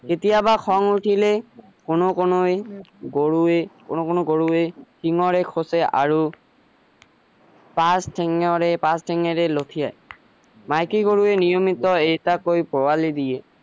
কেতিয়াবা খিং উঠিলে কোনো কোনোৱে গৰুৱে কোনো কোনো গৰুৱে সিঙেৰে খোচে আৰু তাৰ শিঙেৰে তাৰ শিঙেৰে লথিয়াই মাইকী গৰুৱে নিয়মিত এটাকৈ পোৱালি দিয়ে